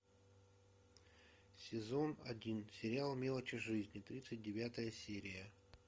сезон один сериал мелочи жизни тридцать девятая серия